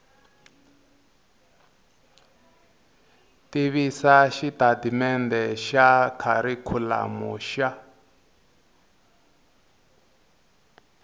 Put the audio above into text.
tivisa xitatimendhe xa kharikhulamu xa